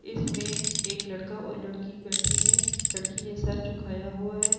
इसमें एक लड़का और लड़की बैठे हैं लड़की ने सिर झुकाया हुआ है ।